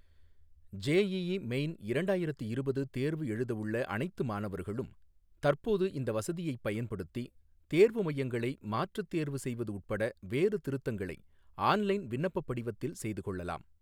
JEE main இரண்டாயிரத்து இருபது தேர்வு எழுதவுள்ள அனைத்து மாணவர்களும் தற்போது இந்த வசதியைப் பயன்படுத்தி தேர்வு மையங்களை மாற்றுத் தேர்வு செய்வது உட்பட வேறு திருத்தங்களை ஆன்லைன் விண்ணப்பப் படிவத்தில் செய்துகொள்ளலாம்.